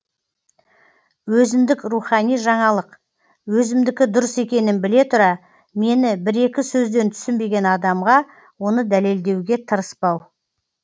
өзіндік рухани жаңалық өзімдікі дұрыс екенін біле тұра мені бір екі сөзден түсінбеген адамға оны дәлелдеуге тырыспау